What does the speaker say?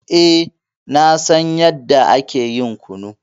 Eh, na san yanda ake ƴin kunu.